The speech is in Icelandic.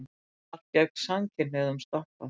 Frumvarp gegn samkynhneigðum stoppað